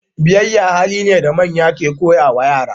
biyayya hali ne da manya ke koya ma yara